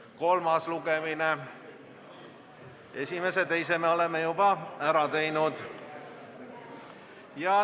See on kolmas lugemine, esimese ja teise me oleme juba ära teinud.